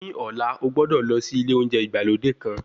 Ní ọ̀lá, o gbọ́dọ̀ lọ sí ilé oúnjẹ ìgbàlódé kan.